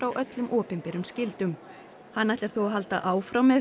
öllum opinberum skyldum hann ætlar þó að halda áfram með